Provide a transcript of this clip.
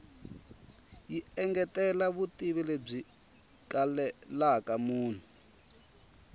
yi engetela vutivi lebyi kalelaka munhu